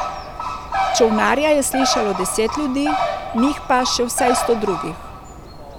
Čolnarja je slišalo deset ljudi, njih pa še vsaj sto drugih.